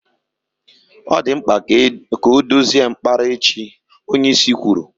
Ọ dị mkpa ka ọ dozie mkpara echi, onyeisi kwuru.